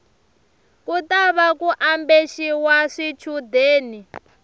ku tava ku ambexiwa swichundeni